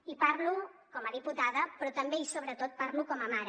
i parlo com a diputada però també i sobretot parlo com a mare